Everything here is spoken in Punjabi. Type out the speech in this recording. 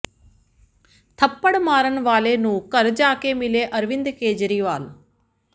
ਥੱਪੜ ਮਾਰਨ ਵਾਲੇ ਨੂੰ ਘਰ ਜਾ ਕੇ ਮਿਲੇ ਅਰਵਿੰਦ ਕੇਜਰੀਵਾਲ